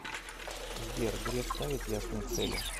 сбер греф ставит ясные цели